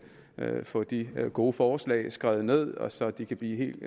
få de gode forslag skrevet ned og så de kan blive helt